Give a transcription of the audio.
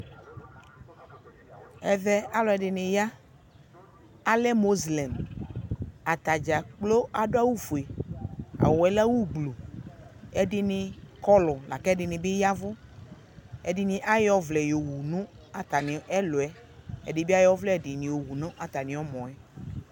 Ɛvɛ, alʋ ɛdini ya, alɛ mozilɛmʋ Atadza kplo adʋ awʋ fue, awʋ yɛ lɛ awʋ gblu Ɛdini kɔɔlʋ la kʋ ɛdini bi yavʋ Ɛdini ayɔ ɔvlɛ yɔwu nʋ atami ɛlʋɛ Ɛdi bi ayɔ ɔvlɛ yɔwʋ nʋ atami ɔmɔ ɛ